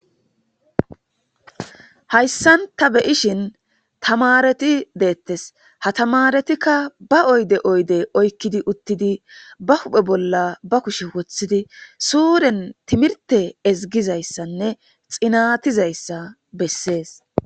Haysan ta beyishin tamareti deetes ha tamaretika ba oyde oyde oykidi uttidi ba huphe bolla ba kushe wothidi sure timirte ezgizaysanne xinatizaysa besses.